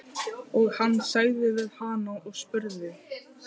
Og hann sagði við hana og spurði